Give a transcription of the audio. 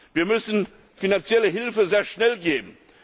Wir müssen finanzielle Hilfe sehr schnell leisten.